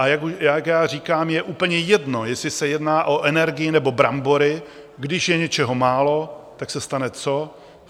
A jak já říkám, je úplně jedno, jestli se jedná o energii, nebo brambory, když je něčeho málo, tak se stane co?